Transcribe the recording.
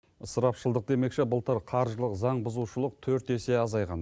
ысырапшылдық демекші былтыр қаржылық заң бұзушылық төрт есе азайған